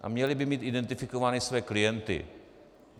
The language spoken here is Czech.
A měly by mít identifikovány své klienty.